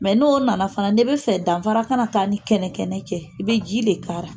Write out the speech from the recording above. Mɛ n'o nana fana n'i tɛ fɛ danfara ka na taa k'a ni kɛnɛkɛnɛ cɛ, i bɛ ji de k'ara.